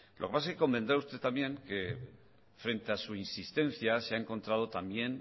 lo que pasa es que convendrá usted también que frente a su insistencia se ha encontrado también